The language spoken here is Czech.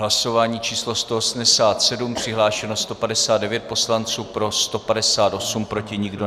Hlasování číslo 187, přihlášeno 159 poslanců, pro 158, proti nikdo.